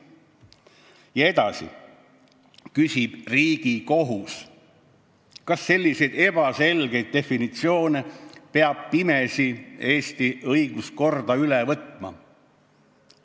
Ja edasi küsib Riigikohus: "Kas selliseid ebaselgeid definitsioone peab pimesi Eesti õiguskorda üle võtma?